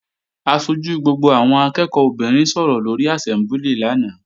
Aṣojú gbogbo àwọn akẹ́ẹ̀kọ́ obìnrin sọ̀rọ̀ lóri àsẹ́mbúlì lánàá